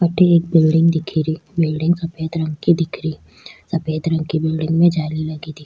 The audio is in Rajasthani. अठे एक बिलडिंग दिखे री बिलडिंग सफ़ेद रंग की दिखे री सफ़ेद रंग की बिलडिंग में जाली लगी दिख --